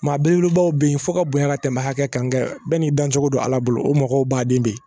Maa belebelebaw bɛ yen fɔ ka bonya ka tɛmɛ hakɛ kan bɛɛ n'i dancogo don ala bolo o mɔgɔ b'a den de